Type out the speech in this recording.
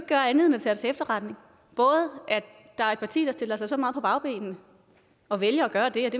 gøre andet end at tage til efterretning at der er et parti der stiller sig så meget på bagbenene og vælger at gøre det